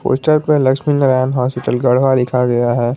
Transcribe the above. Poster पे Lakshmi Narayan hospital Garhwa लिखा गया है।